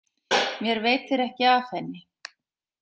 Mér veitir ekki af henni.